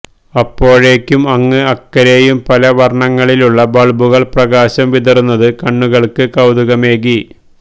അപ്പോഴേക്കും അങ്ങ് അക്കരെയും പല വർണങ്ങളിലുള്ള ബൾബുകൾ പ്രകാശം വിതറുന്നത് കണ്ണുകൾക്ക് കൌതുകമേകി